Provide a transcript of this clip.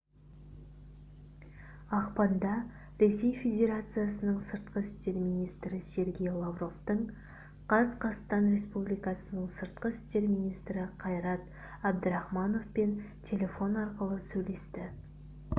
ақпанда ресей федерациясының сыртқы істер мнистрі сергей лавровтың қазқастан республикасы сыртқы істер министрі қайрат әбдірахмановпен телефон арқылы сөйлесті